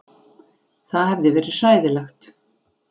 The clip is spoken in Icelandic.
Það hefði verið hræðilegt.